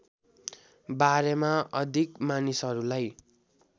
बारेमा अधिक मानिसहरूलाई